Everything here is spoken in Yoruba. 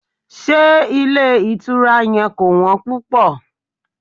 Ṣé ilé ìtura yẹn kò wọ́n púpò?